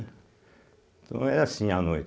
Então era assim a noite.